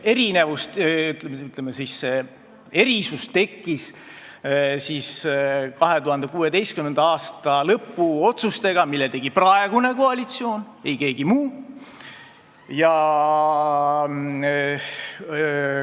Erinevus või, ütleme, erisus tekkis 2016. aasta lõpu otsustega, mille tegi praegune koalitsioon, ei keegi muu.